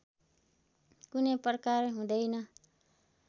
कुनै प्रकार हुँदैन